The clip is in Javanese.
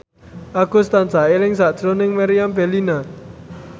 Agus tansah eling sakjroning Meriam Bellina